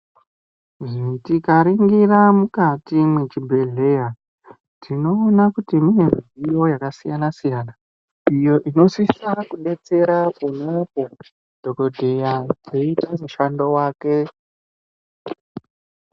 Tikanaringira mukati mwechibhedhleya tinoona kuti mune midziyo yakasiyana siyana iyo inosisa kudetsera ponapo dhokodheya eiita mushando wake.